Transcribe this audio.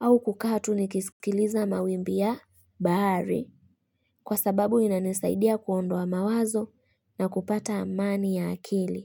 au kukaa tu nikisikiliza mawimbi ya bahari. Kwa sababu inanisaidia kuondoa mawazo na kupata amani ya akili.